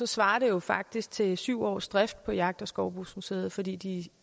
svarer det jo faktisk til syv års drift af jagt og skovbrugsmuseet fordi de